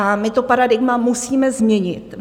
A my to paradigma musíme změnit.